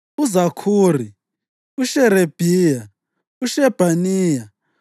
uZakhuri, uSherebhiya, uShebhaniya,